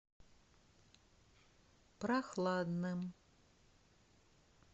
прохладным